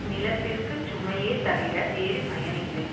நிலத்திற்குச் சுமையே தவிர வேறு பயனில்லை